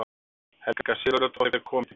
Helga Sigurðardóttir kom í dyrnar.